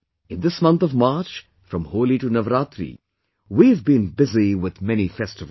In this month of March, from Holi to Navratri, we have been busy with many festivals